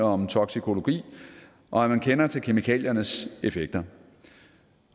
om toksikologi og at man kender til kemikaliernes effekter